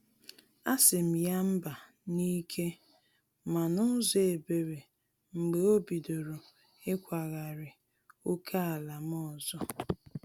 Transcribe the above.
A sirm ya mba n’ike ma n’ụzọ ebere mgbe obidoro ikwagari ókèala m ọzọ.